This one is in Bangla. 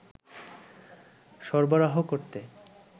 সরবরাহ করতে